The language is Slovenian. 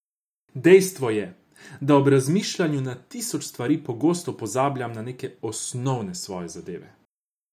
Dejstvo je, da ob razmišljanju na tisoč stvari pogosto pozabljam na neke osnovne svoje zadeve.